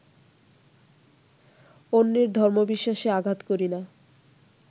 অন্যের ধর্মবিশ্বাসে আঘাত করি না